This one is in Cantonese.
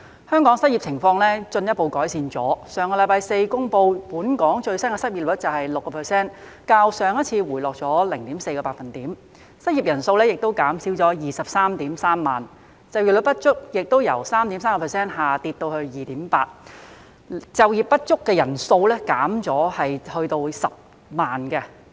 香港的失業情況進一步改善，據上星期四公布本港最新的失業率是 6%， 較上次回落 0.4 個百分點，失業人數減少至 233,000 人；就業不足率亦由 3.3% 下跌至 2.8%， 就業不足人數減少至10萬人。